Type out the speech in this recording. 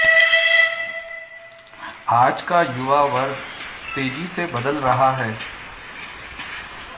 आज का युवा वर्ग तेजी से बदल रहा है